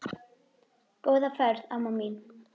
Góða ferð amma mín.